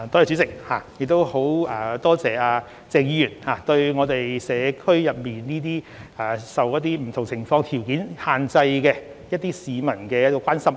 主席，很感謝鄭議員對社區一些受不同情況或條件所限制的市民的關心。